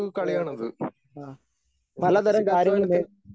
അതെ അതെ ആ പലതരം കാര്യങ്ങള് നേ